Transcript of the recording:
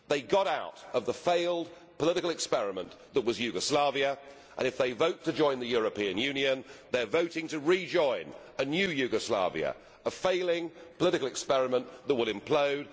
They got out of the failed political experiment that was Yugoslavia. If they vote to join the European Union, they are voting to rejoin a new Yugoslavia, a failing political experiment that will implode.